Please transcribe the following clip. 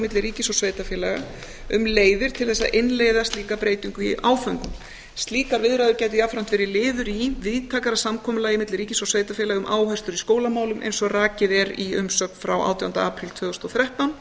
milli ríkis og sveitarfélaga um leiðir til þess að innleiða slíka breytingu í áföngum slíkar viðræður gætu jafnframt verið liður í víðtækara samkomulagi milli ríkis og sveitarfélaga um áherslur í skólamálum eins og rakið er í umsögn frá átjándu apríl tvö þúsund og þrettán